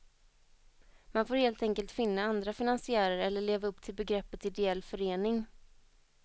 Man får helt enkelt finna andra finansiärer eller leva upp till begreppet ideell förening.